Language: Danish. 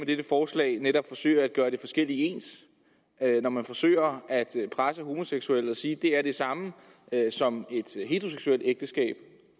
dette forslag netop forsøger at gøre det forskellige ens når man forsøger at presse homoseksuelle og sige er det samme som